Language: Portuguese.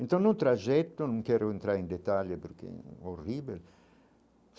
Então não trajeto, não quero entrar em detalhes porque é horrível.